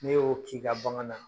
Ne y'o k'i ka bagan na